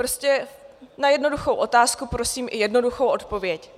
Prostě na jednoduchou otázku prosím i jednoduchou odpověď.